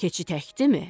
Keçi təkdimi?